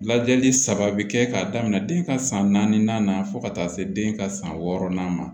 Lajɛli saba bi kɛ k'a daminɛ den ka san naani na fo ka taa se den ka san wɔɔrɔnan ma